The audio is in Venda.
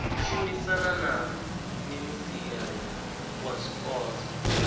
shumisana na minisia wa zwipotso